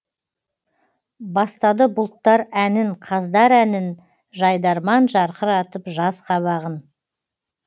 бастады бұлттар әнін қаздар әнін жайдарман жарқыратып жаз қабағын